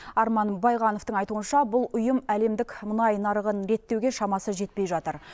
арман байғановтың айтуынша бұл ұйым әлемдік мұнай нарығын реттеуге шамасы жетпей жатыр